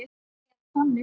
Eða þannig.